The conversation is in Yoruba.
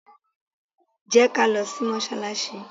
Jẹ́ ká lọ sí mọ́sálásí!